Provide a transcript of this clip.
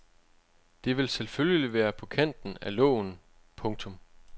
Det vil selvfølgelig være på kanten af loven. punktum